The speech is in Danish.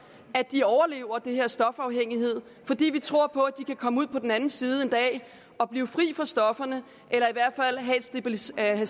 at de overlever den her stofafhængighed fordi vi tror på at de kan komme ud på den anden side og blive fri af stofferne eller i hvert fald have stabiliseret det